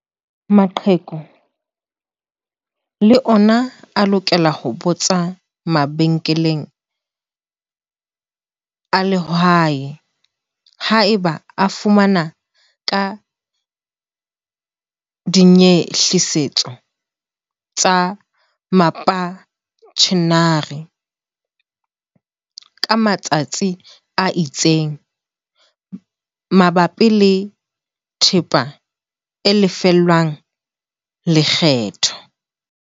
Maqheku le ona a lokela ho botsa mabenkeleng a lehae haeba a fana ka dinyehlisetso tsa mapentjhenara, ka matsa tsi a itseng, mabapi le thepa e lefellwang lekgetho.